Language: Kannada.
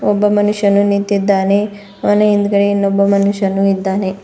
ಒಬ್ಬ ಮನುಷ್ಯನು ನಿಂತಿದ್ದಾನೆ ಅವನ ಹಿಂದ್ಗಡೆ ಇನ್ನೋಬ್ಬ ಮನುಷ್ಯನು ಇದ್ದಾನೆ.